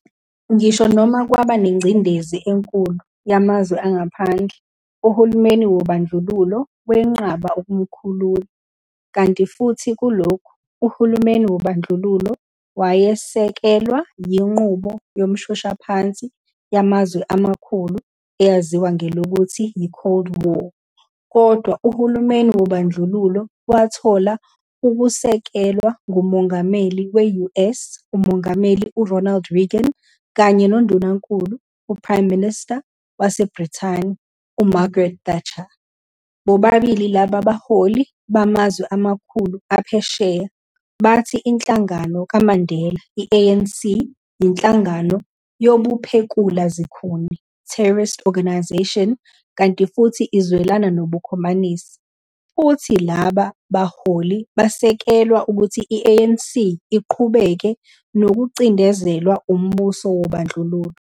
Ngisho noma kwaba nengcindezi enkulu yamazwe angaphandle, uhulumeni wobandlululo wenqaba ukumkhulula, kanti futhi kulokhu, uhulumeni wobandlululo wayesekelwa yinqubo yomshoshaphansi yamazwe amakhulu eyaziwa ngelokuthi yi-Cold War kodwa uhulumeni wobandlululo wathola ukwesekelwa nguMongameli we-US uMongameli u-Ronald Reagan kanye noNdunankulu, uPrime Minister, waseBrithani u-Margaret Thatcher, bobabili laba baholi bamazwe amakhulu aphesheya, bathi inhlangano kaMandela i-ANC, yinhlangano yobuphekula zikhuni, terrorist organisation, kanti futhi izwelana nobukhomanisi, futhi laba baholi basekelwa ukuthi i-ANC iqhubeke nokucindezelwa umbuso wobandlululo.